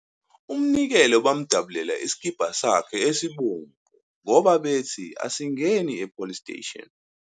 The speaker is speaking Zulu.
U Mnikelo bamdabulela isikibha sakhe esibomvu ngoba bethi asingeni e police station.